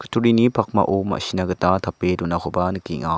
turini pakmao ma·sina gita tape donakoba nikenga.